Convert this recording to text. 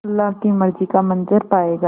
अल्लाह की मर्ज़ी का मंज़र पायेगा